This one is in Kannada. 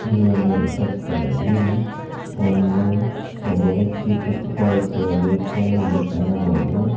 ಈ ಒಂದು ರೇಖಾ ಚಿತ್ರದಲ್ಲಿ ಒಂದು ಒಬ್ಬ ವ್ಯಕ್ತಿ ಕುತ್ಕೋ ರೀತಿಯಲ್ಲಿ ಇಲ್ಲಿ ಕಾಣಬಹುದು.